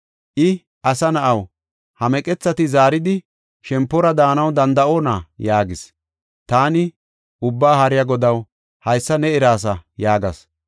I, “Asa na7aw, ha meqethati zaaridi, shempora daanaw danda7oona?” yaagis. Taani, “Ubbaa Haariya Godaw, haysa ne eraasa” yaagas.